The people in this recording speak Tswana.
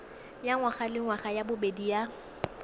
ya ngwagalengwaga ya bobedi ya